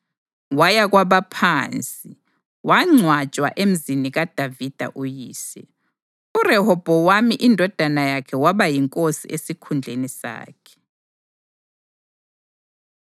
Waya kwabaphansi, wangcwatshwa emzini kaDavida uyise. URehobhowami indodana yakhe waba yinkosi esikhundleni sakhe.